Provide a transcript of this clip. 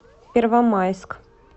первомайск